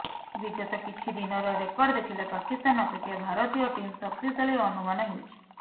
ବିଗତ କିଛି ଦିନର ରେକର୍ଡ ଦେଖିଲେ ପାକିସ୍ତାନ ଅପେକ୍ଷା ଭାରତୀୟ ଟିମ୍ ଶକ୍ତିଶାଳୀ ଅନୁମାନ ହେଉଛି